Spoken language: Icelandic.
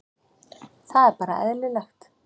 Það er bara eðlilegt